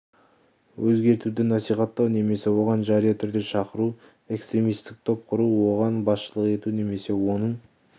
өзгертуді насихаттау немесе оған жария түрде шақыру экстремистік топ құру оған басшылық ету немесе оның